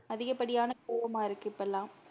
அதிகப்படியான கோவமா இருக்கு இப்ப எல்லாம்